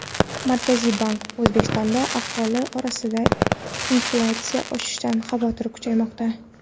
Markaziy bank: O‘zbekistonda aholi orasida inflyatsiya oshishidan xavotir kuchaymoqda.